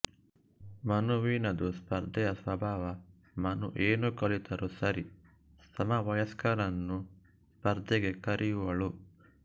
ಮನುವಿನದು ಸ್ಪರ್ಧೆಯ ಸ್ವಭಾವ ಮನು ಏನು ಕಲಿತರೂ ಸರಿ ಸಮವಯಸ್ಕರನ್ನು ಸ್ಪರ್ಧೆಗೆ ಕರೆಯುವಳು